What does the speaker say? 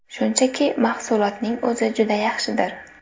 Shunchaki, mahsulotning o‘zi juda yaxshidir.